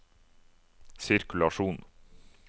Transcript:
sirkulasjon